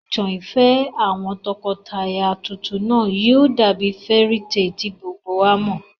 Ìtàn ìfẹ́ àwọn tọkọtaya tuntun náà yóò dàbí fairy tale tí gbogbo wa mọ̀